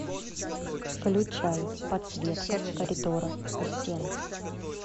включай подсветка коридора у стен